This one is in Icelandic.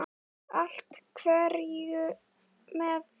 Allt hverfur með þér.